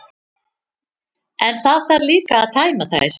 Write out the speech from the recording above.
En það þarf líka að tæma þær.